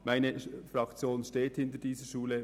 Meine Fraktion steht hinter dieser Schule.